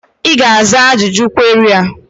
Ị ga-aza ajụjụ kweri a?